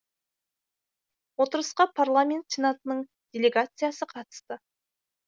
отырысқа парламент сенатының делегациясы қатысты